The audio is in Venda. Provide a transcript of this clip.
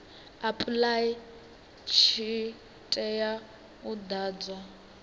apply tshi tea u ḓadzwa